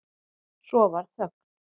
Svo varð þögn.